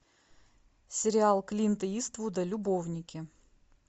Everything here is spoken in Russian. сериал клинта иствуда любовники